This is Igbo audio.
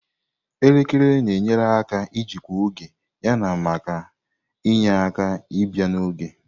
Elekere na-enyere aka ijikwa oge yana maka inye aka ibia n'oge.